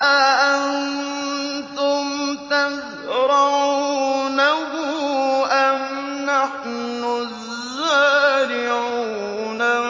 أَأَنتُمْ تَزْرَعُونَهُ أَمْ نَحْنُ الزَّارِعُونَ